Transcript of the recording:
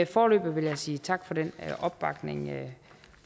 foreløbig vil jeg sige tak for den opbakning